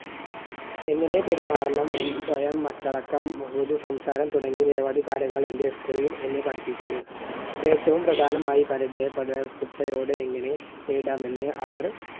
എങ്ങനെ പെരുമാറണം സ്വയം അച്ചടക്കം മൃദു സംസാരം തുടങ്ങിയ നിരവധി കാര്യങ്ങൾ എൻറെ school ൽ എന്നെ പഠിപ്പിക്കുന്നു. ഏറ്റവും പ്രധാനമായി എങ്ങനെ നേരിടാമെന്ന് അവർ